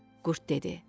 Qurd dedi.